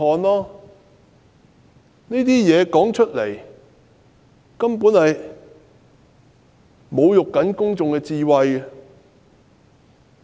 特首的說法根本在侮辱市民的智慧。